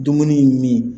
Dumuni ye min